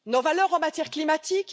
Nos valeurs en matière climatique?